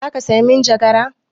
Za ka saya manjagara?